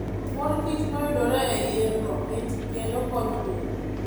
Mor kich mayudore e yien-go mit kendo konyo del.